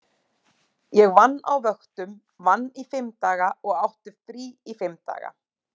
Hefur verið sagt að það taki tvo mánuði að fá áritun.